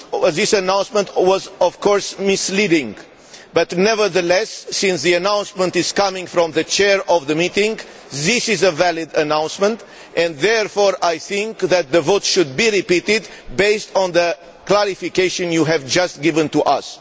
This announcement was, of course, misleading, but, nevertheless, since the announcement came from the chair of the meeting, it was a valid announcement and, therefore, I think that the vote should be repeated based on the clarification you have just given to us.